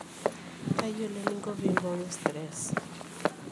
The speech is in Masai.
tayiolo eninko pee imbooyo stress